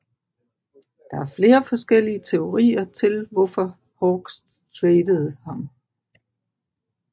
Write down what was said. Der er flere forskellige teorier til hvorfor Hawks tradede ham